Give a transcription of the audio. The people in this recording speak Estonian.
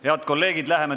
Head kolleegid!